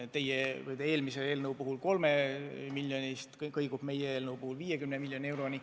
See kõigub teie eelnõu 3 miljoni ja meie eelnõu 50 miljoni euro vahel.